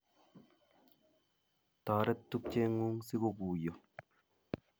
Toret tupchengung si ko guiyo